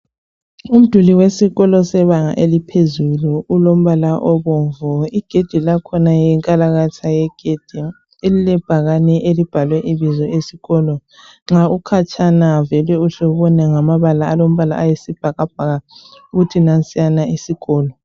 Umduli wesikolo sebanga eliphezulu ulombala obomvu. Igedi lakhona yinkalakatha yegedi elilebhakane elibhalwe ibizo lesikolo .Nxa ukhatshana vele uhle ubone ngamabala alombala ayisibhakabhaka ukuthi nansiyana isikolo.